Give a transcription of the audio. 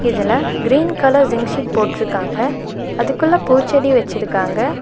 இதுல green colour zinc sheet போட்ருக்காங்க அதுக்குள்ள பூச்செடி வச்சிருக்காங்க.